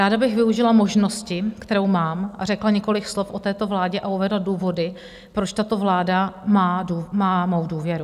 Ráda bych využila možnosti, kterou mám, a řekla několik slov o této vládě a uvedla důvody, proč tato vláda má mou důvěru.